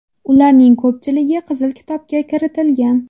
Ularning ko‘pchiligi Qizil kitobga kiritilgan.